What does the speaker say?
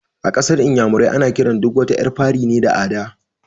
A ƙasar inyamurai ana kiran duk wata ƴar fari ne da "Ada"